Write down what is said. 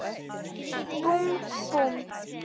Búmm, búmm.